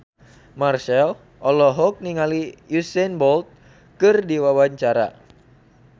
Marchell olohok ningali Usain Bolt keur diwawancara